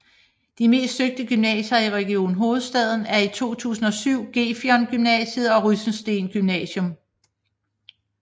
De mest søgte gymnasier i Region Hovedstaden er i 2017 Gefion Gymnasium og Rysensteen Gymnasium